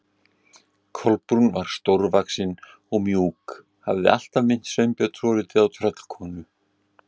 Kolbrún var stórvaxin og mjúk, hafði alltaf minnt Sveinbjörn svolítið á tröllkonu.